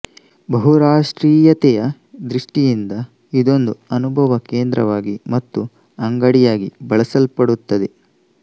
ಬಹುರಾಷ್ಟ್ರೀಯತೆಯ ದೃಷ್ಟಿಯಿಂದ ಇದೊಂದು ಅನುಭವ ಕೇಂದ್ರವಾಗಿ ಮತ್ತು ಅಂಗಡಿಯಾಗಿ ಬಳಸಲ್ಪಡುತ್ತದೆ